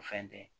O fɛn tɛ